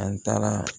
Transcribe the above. An taara